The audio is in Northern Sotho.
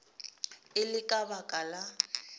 e le ka baka la